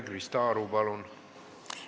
Krista Aru, palun!